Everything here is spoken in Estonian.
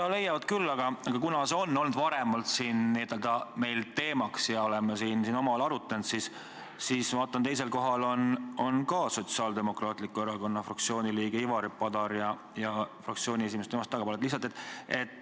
Jaa, leiavad küll, aga kuna see on meil varemgi teemaks olnud ja me oleme seda siin omavahel arutanud, siis märgin, et teisel kohal on Sotsiaaldemokraatliku Erakonna fraktsiooni liige Ivari Padar ja fraktsiooni esimees temast tagapool.